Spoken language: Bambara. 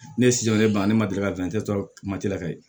Ne ye ne ban ne ma deli ka sɔrɔ la ka ye